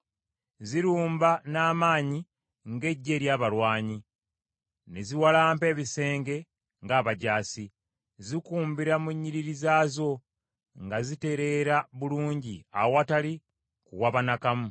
Zirumba n’amaanyi ng’eggye ery’abalwanyi, ne ziwalampa ebisenge ng’abajaasi. Zikumbira mu nnyiriri zaazo nga zitereera bulungi awatali kuwaba n’akamu.